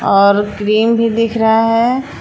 और क्रीम भी दिख रहा हैं।